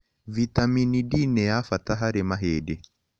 Vĩtamĩnĩ d nĩ ya bata harĩ mahĩndĩ